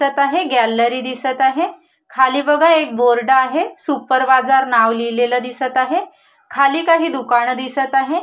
सत आहे गॅलरी दिसत आहे खाली बघा एक बोर्ड आहे सुपर बाजार नाव लिहिलेल दिसत आहे खाली काही दुकान दिसत आहेत.